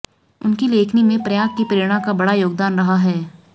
उनकी लेखनी में प्रयाग की प्रेरणा का बड़ा योगदान रहा है